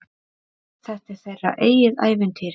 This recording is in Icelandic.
Þetta er þeirra eigið ævintýr.